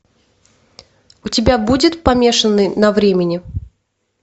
у тебя будет помешанный на времени